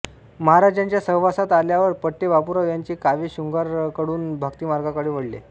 महाराजांच्या सहवासात आल्यावर पठ्ठे बापूराव यांचे काव्य शृंगाराकडून भक्तिमार्गाकडे वळले